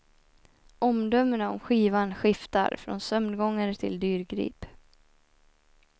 Omdömena om skivan skiftar, från sömngångare till dyrgrip.